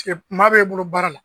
ma bɛ e bolo baara la